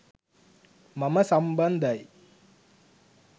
මම සම්බන්ධයි.